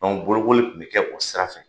bolokoli tun bɛ kɛ o sira fɛ